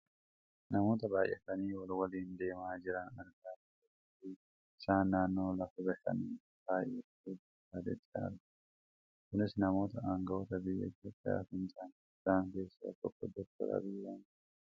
namoota baayyyatanii wal waliin deemaa jiran argaa kan jirruufi isaani naannoo lafa bashananaa baayyee bareedduu taatetti kan argamanidha. kunis namoota anga'oota biyya Itoopiyaa kan ta'anidha. isaan keessaa tokko Dr Abbiyyi Ahimedidha.